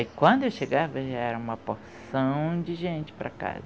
E quando eu chegava já era uma porção de gente para a casa.